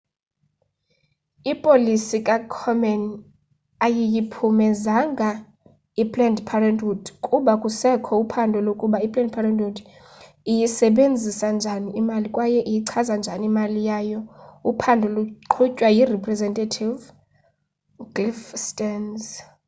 ipolisi kakomen ayiyiphumezanga iplanned parenthood kuba kusekho uphando lokuba i planned parenthood iyisebenzisa njani imali kwaye iyichaza njani imali yayo uphando luqhutywa yirepresentative cliff stearns